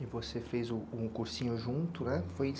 E você fez um cursinho junto, né?